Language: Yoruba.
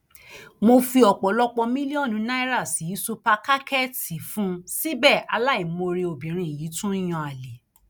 mo fi ọpọlọpọ mílíọnù náírà sí ṣùpàkàkẹẹtì fún un síbẹ aláìmoore obìnrin yìí tún ń yan àlè